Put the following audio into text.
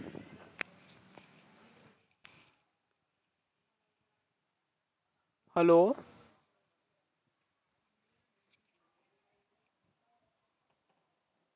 hello